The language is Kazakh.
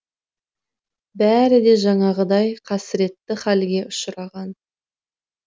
бәрі де жаңағыдай қасіретті халге ұшыраған